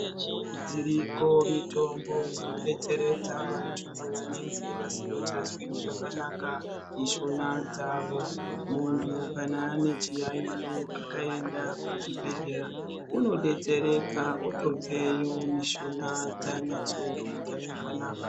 Dziriko mitombo dzinodetseredza vantu vanenge vasingachazwi zvakanaka mishuna dzavo. Muntu kana ane chiyaiyo akaenda kuchibhehlera unodetsereka otobveyo mishuna dzanyatsoita zvakanaka.